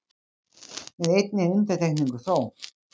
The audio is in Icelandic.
Með einni undantekningu þó